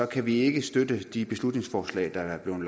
kan vi ikke støtte de beslutningsforslag der er blevet